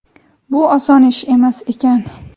Bu oson ish emas ekan.